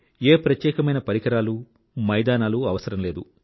ఏ ప్రత్యేకమైన పరికరాలూ మైదానాలు అవసరం లేదు